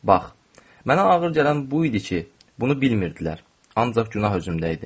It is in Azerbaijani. Bax, mənə ağır gələn bu idi ki, bunu bilmirdilər, ancaq günah üzümdə idi.